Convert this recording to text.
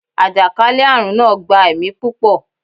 àjàkálẹ̀-arun naa gba ẹmi pupọ